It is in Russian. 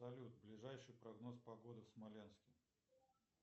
салют ближайший прогноз погоды в смоленске